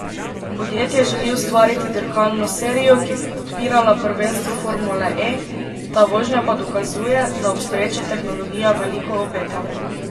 Podjetje želi ustvariti dirkalno serijo, ki bo podpirala prvenstvo formule E, ta vožnja pa dokazuje, da obstoječa tehnologija veliko obeta.